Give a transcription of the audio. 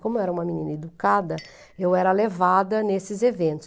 Como eu era uma menina educada, eu era levada nesses eventos.